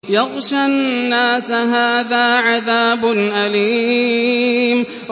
يَغْشَى النَّاسَ ۖ هَٰذَا عَذَابٌ أَلِيمٌ